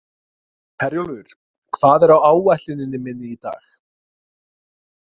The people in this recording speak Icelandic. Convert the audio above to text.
Herjólfur, hvað er á áætluninni minni í dag?